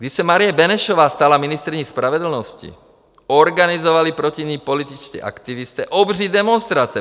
Když se Marie Benešová stala ministryní spravedlnosti, organizovali proti ní političtí aktivisté obří demonstrace.